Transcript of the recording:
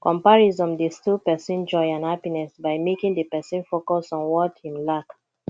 comparison dey steal pesin joy and happiness by making di pesin focus on what im lack